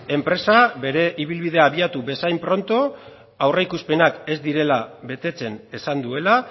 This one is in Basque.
enpresa bere ibilbidea abiatu bezain pronto aurreikuspenak ez direla betetzen esan duela